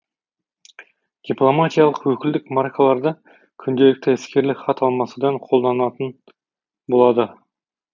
дипломатиялық өкілдік маркаларды күнделікті іскерлік хат алмасуда қолданатын болады